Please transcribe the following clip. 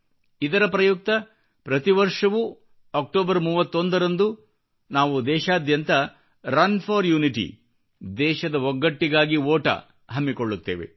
ಇದರ ಪ್ರಯುಕ್ತ ಪ್ರತಿ ವರ್ಷವೂ ಅಕ್ಟೋಬರ್ 31 ರಂದು ನಾವು ದೇಶಾದ್ಯಂತ ರನ್ ಫಾರ್ ಯುನಿಟಿ ದೇಶದ ಒಗ್ಗಟ್ಟಿಗಾಗಿ ಓಟ ಹಮ್ಮಿಕೊಳ್ಳುತ್ತೇವೆ